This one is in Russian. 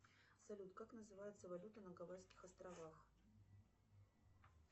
салют как называется валюта на гавайских островах